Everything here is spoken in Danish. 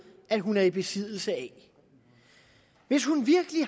at hun er i besiddelse af hvis hun virkelig